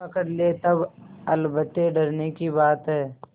पकड़ ले तब अलबत्ते डरने की बात है